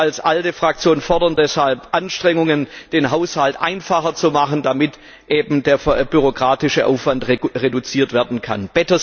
Wir als ALDE Fraktion fordern deshalb Anstrengungen, den Haushalt einfacher zu machen, damit eben der bürokratische Aufwand reduziert werden kann.